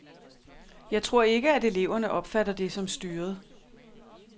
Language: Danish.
Jeg tror ikke, at eleverne opfatter det som styret.